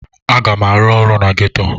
Aga m arụ ọrụ na geto.